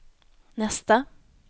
nästa